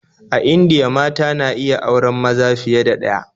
A Indiya mata na iya auren maza fiye da ɗaya